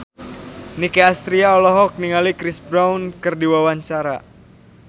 Nicky Astria olohok ningali Chris Brown keur diwawancara